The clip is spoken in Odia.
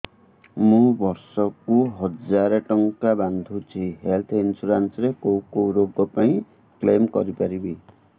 ମୁଁ ବର୍ଷ କୁ ହଜାର ଟଙ୍କା ବାନ୍ଧୁଛି ହେଲ୍ଥ ଇନ୍ସୁରାନ୍ସ ରେ କୋଉ କୋଉ ରୋଗ ପାଇଁ କ୍ଳେମ କରିପାରିବି